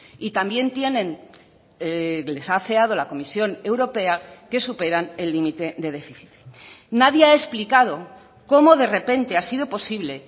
y también tienen les ha afeado la comisión europea que superan el límite de déficit nadie ha explicado cómo de repente ha sido posible